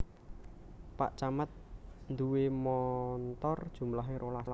Pak camat nduwe montor jumlahe rolas